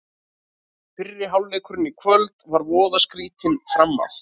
Fyrri hálfleikurinn í kvöld var voða skrýtinn framan af.